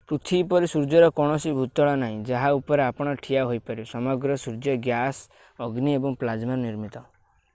ପୃଥିବୀ ପରି ସୂର୍ଯ୍ୟର କୌଣସି ଭୂତଳ ନାହିଁ ଯାହା ଉପରେ ଆପଣ ଠିଆ ହୋଇପାରିବେ ସମଗ୍ର ସୂର୍ଯ୍ୟ ଗ୍ୟାସ ଅଗ୍ନି ଏବଂ ପ୍ଲାଜ୍ମାରୁ ନିର୍ମିତ